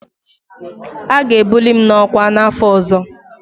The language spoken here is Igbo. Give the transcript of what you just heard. A ga-ebuli m n'ọkwa n'afọ ọzọ.